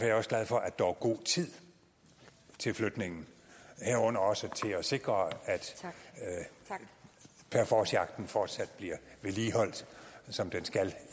jeg også glad for at der er god tid til flytningen herunder også til at sikre at parforcejagten fortsat bliver vedligeholdt som den skal